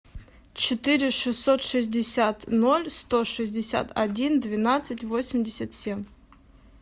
четыре шестьсот шестьдесят ноль сто шестьдесят один двенадцать восемьдесят семь